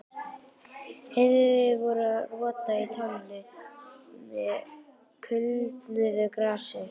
Heiðveig voru að róta með tánni í kulnuðu grasinu.